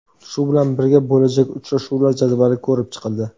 Shu bilan birga, bo‘lajak uchrashuvlar jadvali ko‘rib chiqildi.